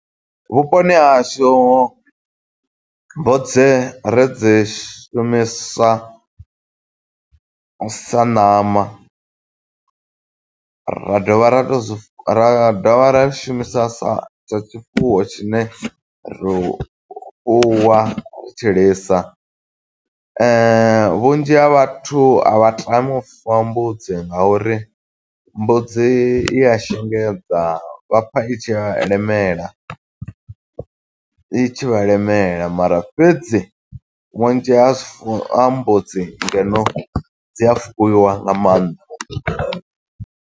Vhuponi ha hashu mbudzi ri dzi shumisa sa ṋama, ra dovha ra to zwi, ra dovha ra shumisa sa, sa tshifuwo tshine ri fuwa u tshilisa. Vhunzhi ha vhathu a vha tami u fuwa mbudzi, nga uri mbudzi i a shengedza. Vha pfa i tshi vha lemela, i tshi vha lemela mara fhedzi vhunzhi ha zwifu ha mbudzi ngeno, dzi a fuwiwa nga maanḓa.